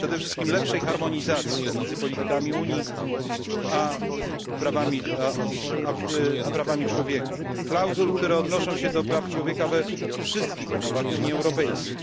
Przede wszystkim lepszej harmonizacji między politykami Unii a prawami człowieka. Klauzul, które odnoszą się do praw człowieka we wszystkich umowach Unii Europejskiej.